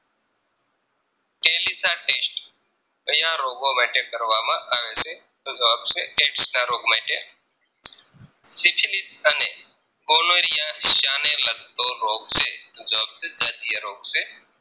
test કયા રોગો માટે કરવામાં આવે છે તો જવાબ છે Aids ના રોગ માટે સીંછનીત અને Cholera શાને લાગતો રોગ છે તો જવાબ છે જાતીય રોગ છે